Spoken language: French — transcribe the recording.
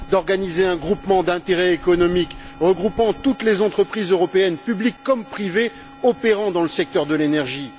d'organiser un groupement d'intérêts économiques regroupant toutes les entreprises européennes, publiques comme privées, qui opèrent dans le secteur de l'énergie.